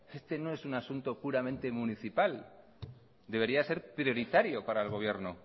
este no es un asunto puramente municipal debería ser prioritario para el gobierno